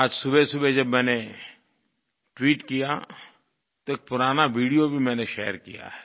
आज सुबहसुबह जब मैंने ट्वीट किया तो एक पुराना वीडियो भी मैंने शेयर किया है